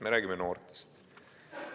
Me räägime noortest.